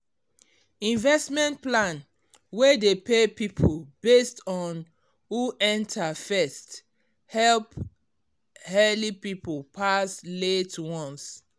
investment plan wey dey pay people based on who enter first help early people pass late ones